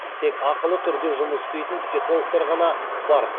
тек ақылы түрде жұмыс істейтін психологтар ғана бар